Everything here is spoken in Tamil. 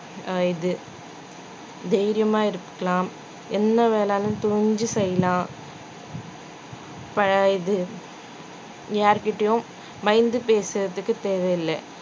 அஹ் இது தைரியமாயிருக்கலாம் என்ன வேணாலும் துணிஞ்சு செய்யலாம் ப~ இது யார்கிட்டையும் பயந்து பேசறதுக்கு தேவையில்லை